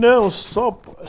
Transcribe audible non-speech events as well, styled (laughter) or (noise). Não, só (unintelligible)